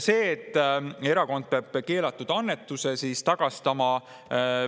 Sellest, et erakond peab keelatud annetuse tagastama.